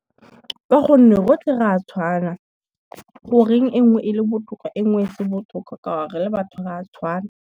Ka gonne rotlhe ra tshwana, goreng e ngwe e le botoka e ngwe se botoka ka 'ore re le batho ra tshwana.